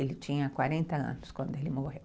Ele tinha quarenta anos quando ele morreu.